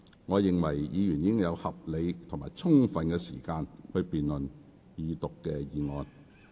我認為議員已有合理及充分時間辯論二讀議案。